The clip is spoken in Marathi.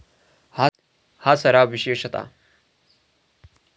हा सराव विशेषतः.